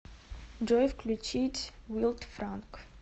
джой включить вилд франг